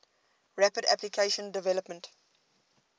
rapid application development